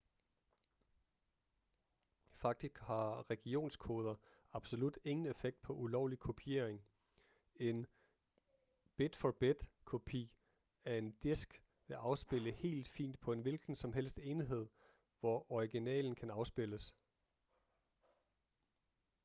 faktisk har regionskoder absolut ingen effekt på ulovlig kopiering en bid-for-bid-kopi af en disk vil afspille helt fint på en hvilken som helst enhed hvor originalen kan afspilles